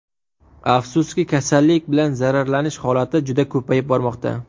Afsuski, kasallik bilan zararlanish holati juda ko‘payib bormoqda.